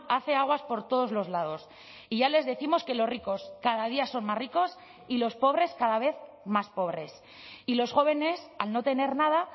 hace aguas por todos los lados y ya les décimos que los ricos cada día son más ricos y los pobres cada vez más pobres y los jóvenes al no tener nada